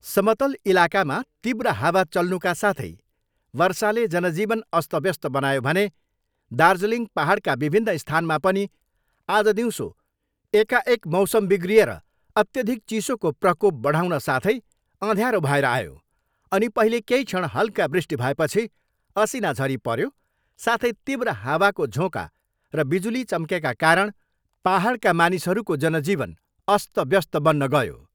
समतल इलाकामा तीव्र हावा चल्नुका साथै वर्षाले जनजीवन अस्तव्यस्त बनायो भने दार्जिलिङ पाहाडका विभिन्न स्थानमा पनि आज दिउँसो एकाएक मौसम बिग्रिएर अत्यधिक चिसोको प्रकोप बढाउन साथै अध्याँरो भएर आयो अनि पहिले केही क्षण हल्का वृष्टि भएपछि असिना झरी पर्यो साथै तीव्र हावाको झोँका र बिजुली चम्केका कारण पाहाडका मानिसहरूको जनजीवन अस्तव्यस्त बन्न गयो।